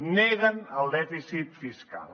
neguen el dèficit fiscal